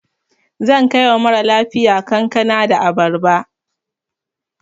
Zan kai wa mara lafiya kankana da abarba.